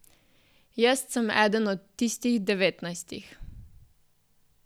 Jest sem eden od tistih devetnajstih.